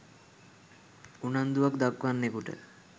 උනන්දුවක් දක්වන්නෙකුට